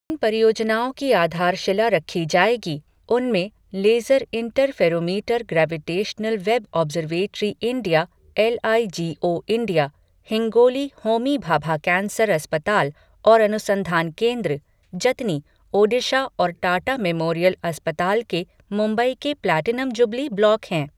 जिन परियोजनाओं की आधारशिला रखी जाएगी, उनमें laser interferometer gravitational wave observatory India LIGO India, Hingoli Homi Bhabha cancer अस्पताल और अनुसंधान केंद्र, जतनी, ओडिशा और टाटा मेमोरियल अस्पताल के मुंबई के प्लैटिनम जुबली ब्लॉक हैं।